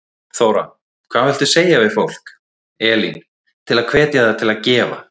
Þóra: Hvað viltu segja við fólk, Elín, til að hvetja það til að gefa?